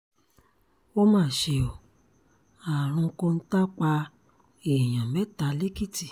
ó mà ṣe ó àrùn kọ́ńtà pa èèyàn mẹ́ta lẹ́kìtì